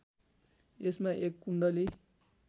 यसमा एक कुण्डली